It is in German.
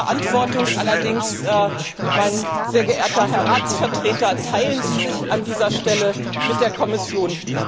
Die Verantwortung allerdings, sehr geehrter Herr Ratsvertreter, teilen Sie sich an dieser Stelle mit der Kommission.